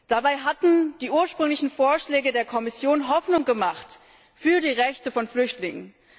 Dabei hatten die ursprünglichen Vorschläge der Kommission Hoffnung gemacht für die Rechte von Flüchtlingen.